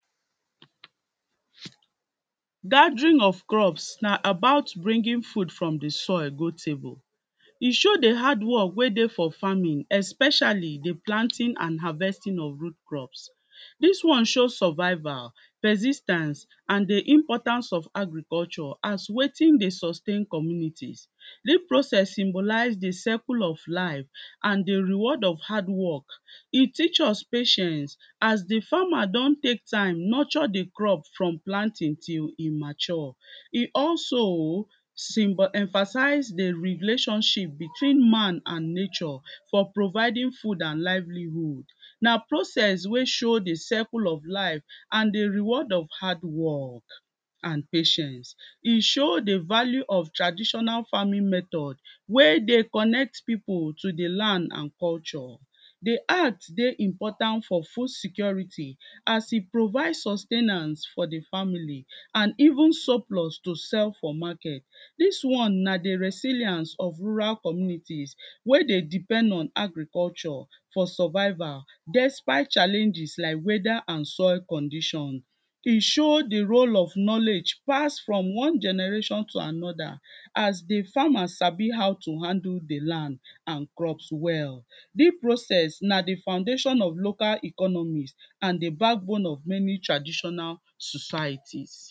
gathering of crops na about bringing food from the soil go table, e show the hardwork wey Dey for farming especially the planting and harvesting of root crops, dis one show survival, pesistance and the importance of agriculture as wetin Dey sustain communities, dis process symbolize the cerku of life and the reward of hardwork, e teach us patience as the farmer don take time nurture the crop from planting til e mature, e also symbo emphasize the relationship between man and and nature for providing food and livelihood, na process wey show the cercle of life and the reward of hardwork and patience, e show the value of traditional farming method wey Dey connect pipu to the land and culture, the act Dey important for food security as e provide sus ten ance for the family and even surplus to sell for market, dis one na the reseliance of rural communities wey Dey depend on agriculture for survival despite challenges like weda and soil condition, e show the role of knowledge pass from one generation to another as the farmers sabi how to handle the land and crops well, di process na the foundation of local economist and the backbone of many traditional societies.